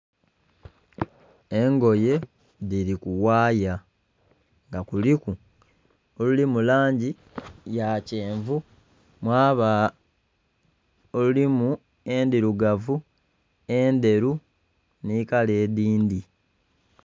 Engoye dhiri kughaya nga kuliku oluli mulangi yakyenvu mwaba olulimu endhirugavu, endheru nikala edhindhi.